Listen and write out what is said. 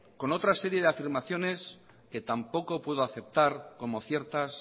con otra serie de afirmaciones que tampoco puedo aceptar como ciertas